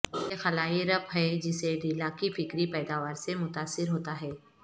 یہ خلائی رپ ہے جسے ڈیلا کی فکری پیداوار سے متاثر ہوتا ہے